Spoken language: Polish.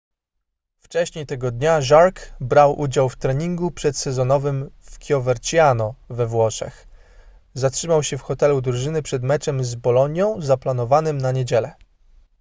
wcześniej tego dnia jarque brał udział w treningu przedsezonowym w coverciano we włoszech zatrzymał się w hotelu drużyny przed meczem z bolonią zaplanowanym na niedzielę